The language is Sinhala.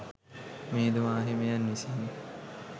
මිහිඳු මාහිමියන් විසින්